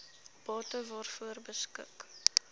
bate waaroor beskik